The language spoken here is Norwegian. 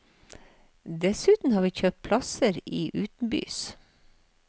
Dessuten har vi kjøpt plasser i utenbys.